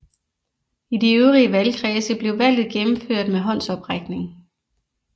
I de øvrige valgkredse blev valget gennemført med håndsoprækning